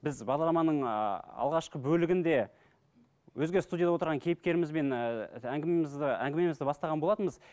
біз бағдарламаның ыыы алғашқы бөлігінде өзге студияда отырған кейіпкерімізбен ііі әңгімемізді әңгімемізді бастаған болатынбыз